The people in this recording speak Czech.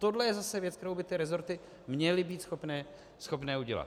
Tohle je zase věc, kterou by ty rezorty měly být schopny udělat.